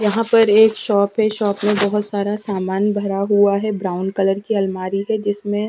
यहाँ पर एक शॉप है शॉप में बहुत सारा सामान भरा हुआ है ब्राउन कलर की अलमारी है जिसमें--